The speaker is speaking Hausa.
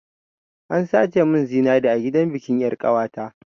An sace mun zinari a gidan bikin yar'ƙawata.